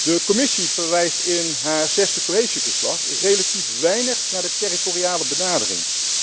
De Commissie verwijst in haar zesde cohesieverslag relatief weinig naar de territoriale benadering.